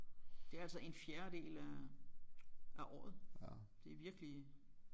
Det er altså en fjerdedel af af året det er virkelig